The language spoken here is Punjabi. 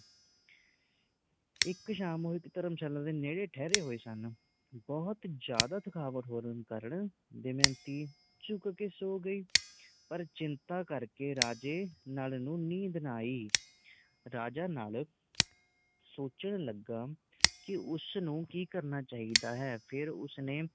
ਪਰ ਚਿੰਤਾ ਕਰਕੇ ਰਾਜੇ ਨੱਲ ਨੂੰ ਨੀਂਦ ਨਾ ਆਈ। ਰਾਜਾ ਨੱਲ ਸੋਚਣ ਲੱਗਾ ਕਿ ਉਸ ਨੂੰ ਕਿ ਕਰਨਾ ਚਾਹੀਦਾ ਹੈ। ਫਿਰ ਉਸਨੇ